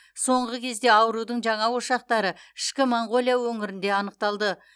соңғы кезде аурудың жаңа ошақтары ішкі моңғолия өңірінде анықталды